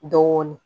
Dɔɔnin